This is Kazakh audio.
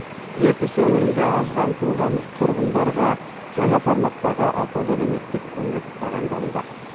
ертіс өңірінде аз қамтылған тұрғындарға жаңа форматтағы атаулы әлеуметтік көмек тағайындалуда